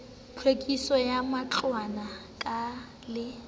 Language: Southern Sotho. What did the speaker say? tlhwekiso ya matlwana ke le